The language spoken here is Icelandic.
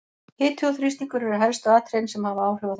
Hiti og þrýstingur eru helstu atriðin sem hafa áhrif á þetta.